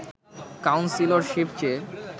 councillorship চেয়ে